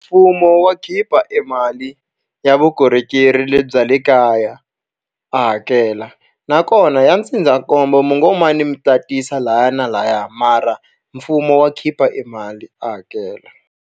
Mfumo wa khipa e mali ya vukorhokeri lebyi bya le kaya a hakela. Nakona ya ndzindzakombo mi ngo mi tatisa lahaya na lahaya, mara mfumo wa khipa e mali a hakela.